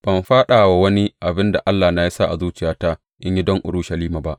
Ban faɗa wa wani abin da Allahna ya sa a zuciyata in yi don Urushalima ba.